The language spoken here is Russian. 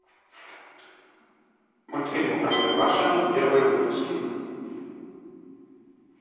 мультфильмы простоквашино первые выпуски